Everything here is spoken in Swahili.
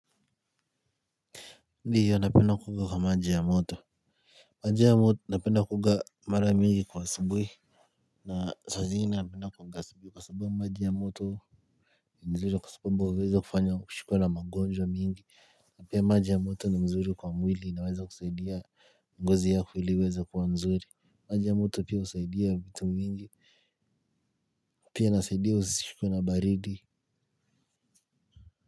Ndiyo napenda kuoga kwa maji ya moto. Maji ya moto napenda kuoga mara mingi kwa asubuhi. Na saa zingine napenda kuoga asubuhi kwa sababu maji ya moto. Nzuri kwa sababu huweza kufanya kushikwa na magonjwa mingi na pia maji ya moto ni mzuri kwa mwili inaweza kusaidia ngozi ya ili iweze kwa mzuri. Maji ya moto pia husaidia vitu vingi pia inasaidia usishikwe na baridi.